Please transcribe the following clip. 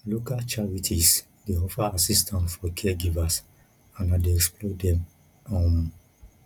local charities dey offer assistance for caregivers and i dey explore dem um